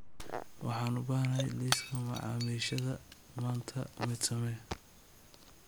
Waxaan u baahanahay liiska macaamiishayda maanta mid samee